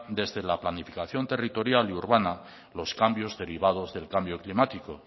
desde la planificación territorios y urbana los cambios derivados del cambio climático